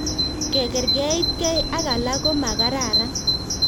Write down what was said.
Kekerkeitkei ak alak ko makararan